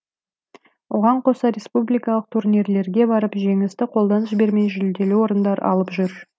оған қоса республикалық турнирлерге барып жеңісті қолдан жібермей жүлделі орындар алып жүр